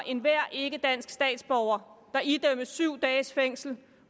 enhver ikkedansk statsborger der idømmes syv dages fængsel